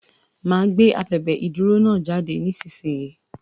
Máa gbé abèbè ìdúró náà jáde nísinsìnyí.